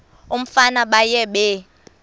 umfana baye bee